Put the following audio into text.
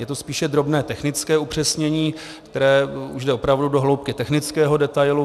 Je to spíše drobné technické upřesnění, které už jde opravdu do hloubky technického detailu.